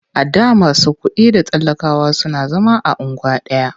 A da masu kuɗi da talakawa suna zama a unguwa ɗaya.